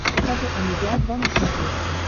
покажи амедиа два на смотрешке